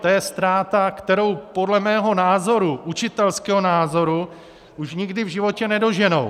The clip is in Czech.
To je ztráta, kterou podle mého názoru, učitelského názoru, už nikdy v životě nedoženou.